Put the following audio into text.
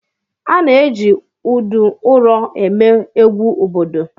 A na-eji udu ụrọ eme egwu obodo.